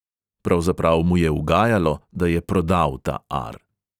Pravzaprav mu je ugajalo, da je prodal ta ar.